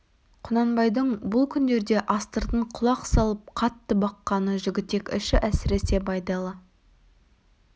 құнанбайдың бұл күндерде астыртын құлақ салып қатты баққаны жігітек іші әсіресе байдалы